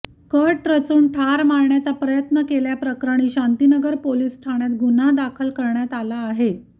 cut रचून ठार मारण्याचा प्रयत्न केल्याप्रकरणी शांतीनगर पोलीस ठाण्यात गुन्हा दाखल करण्यात आला आहे